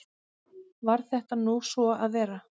Varð þetta nú svo að vera.